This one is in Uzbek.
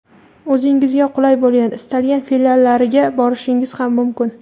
o‘zingizga qulay bo‘lgan istalgan filiallariga borishingiz ham mumkin.